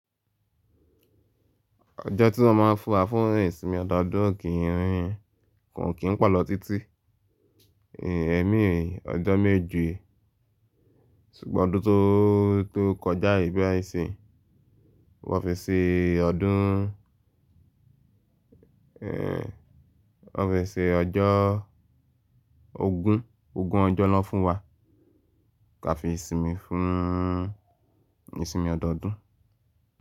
Ọjọ́ tí wọ́n má a ń fún wa fún ìsinmi ọdọọdún o kì í, kò kín po lọ́ títí. Ẹ̀mí ọjọ́ méje ṣùgbọ́n ọdún tó, tó kọjá yìí bayii nisiyin, wọ́n fi ṣe ọdún, ẹ́ wọ́n fi ṣe ọjọ́ ogún, ogún ọjọ́ naa fún wa ká fi sinmi fún ìsinmi ọdọọdún.